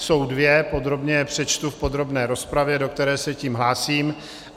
Jsou dvě, podrobně je přečtu v podrobné rozpravě, do které se tím hlásím.